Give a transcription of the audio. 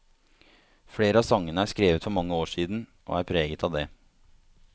Flere av sangene er skrevet for mange år siden, og er preget av det.